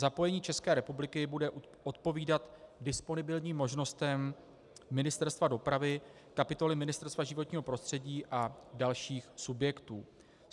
Zapojení České republiky bude odpovídat disponibilním možnostem Ministerstva dopravy, kapitoly Ministerstva životního prostředí a dalších subjektů.